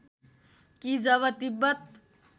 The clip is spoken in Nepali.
कि जब तिब्बत